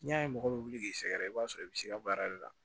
N'i y'a ye mɔgɔ bɛ wuli k'i sɛgɛrɛ i b'a sɔrɔ i bɛ se ka baara de la